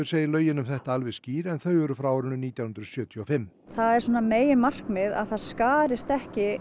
segir lögin um þetta alveg skýr en þau eru frá árinu nítján hundruð sjötíu og fimm það er svona meginmarkmið að það skarist ekki